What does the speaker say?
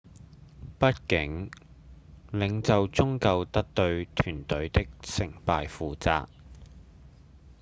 畢竟領袖終究得對團隊的成敗負責